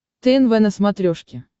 тнв на смотрешке